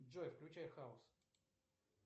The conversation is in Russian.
джой включай хаус